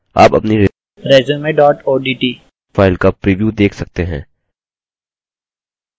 आप अपनी resume odt file का प्रिव्यू देख सकते हैं